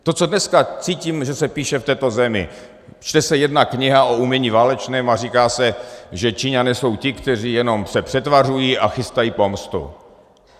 To, co dneska cítím, že se píše v této zemi, čte se jedna kniha o umění válečném a říká se, že Číňané jsou ti, kteří se jenom přetvařují a chystají pomstu.